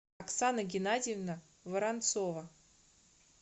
оксана геннадьевна воронцова